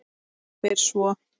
Spyr svo